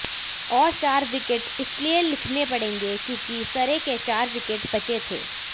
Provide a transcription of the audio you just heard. और चार विकेट इसलिए लिखने पड़ेंगे क्योंकि सरे के चार विकेट बचे थे